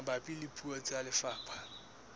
mabapi le puo tsa lefapha